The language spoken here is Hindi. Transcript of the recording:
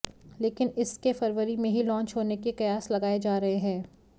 लेकिन इसके फरवरी में ही लॉन्च होने के कयास लगाए जा रहे हैं